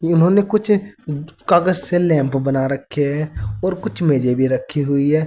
इन्होंने कुछ कागज से लैंप बना रखे हैं और कुछ मेजे भी रखी हुई हैं।